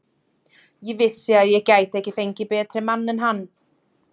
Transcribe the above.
Ég vissi að ég gæti ekki fengið betri mann en hann.